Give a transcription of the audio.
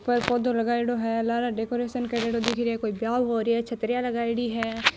कोई पौधों लगायेड़ो है लारे डेकोरेशन करेड़ो दिख रे है कोई बियाव होरे छतरियां लगायेड़ी हैं।